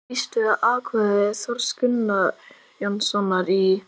Ég býst við að atkvæði Þórs Guðjónssonar í